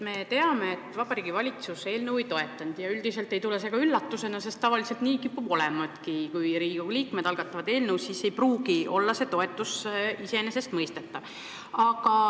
Me teame, et Vabariigi Valitsus eelnõu ei toetanud, ja see ei tule ka üllatusena, sest tavaliselt nii kipubki olema – kui Riigikogu liikmed algatavad eelnõusid, siis ei pruugi see toetus olla iseenesestmõistetav.